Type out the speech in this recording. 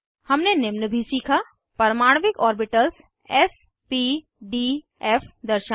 हमने निम्न भी सीखा परमाणविक orbitals s p d f दर्शाना